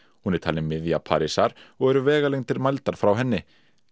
hún er talin miðja Parísar og eru vegalengdir mældar frá henni